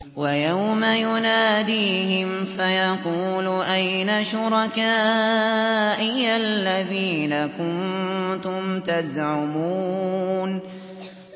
وَيَوْمَ يُنَادِيهِمْ فَيَقُولُ أَيْنَ شُرَكَائِيَ الَّذِينَ كُنتُمْ تَزْعُمُونَ